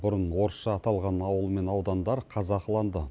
бұрын орысша аталған ауыл мен аудандар қазақыланды